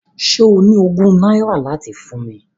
Ṣé o ní ogún náírà láti fún mi?